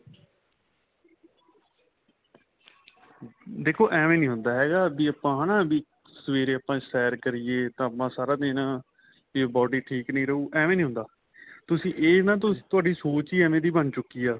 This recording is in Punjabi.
ਦੇਖੋ ਐਵੇ ਨਹੀਂ ਹੁੰਦਾ ਹੈਗਾ ਵੀ ਆਪਾਂ ਇਹਨਾ ਵੀ ਸਵੇਰੇ ਆਪਾਂ ਸੈਰ ਕਰੀਏ ਤਾਂ ਆਪਾਂ ਸਾਰਾ ਦਿਨ ਵੀ body ਠੀਕ ਨਹੀਂ ਰਹੂ ਐਵੇਂ ਨਹੀਂ ਹੁੰਦਾ ਤੁਸੀਂ ਇਹ ਨਾ ਤੁਹਾਡੀ ਸੋਚ ਹੀ ਐਵੇ ਦੀ ਬਣ ਚੁੱਕੀ ਆ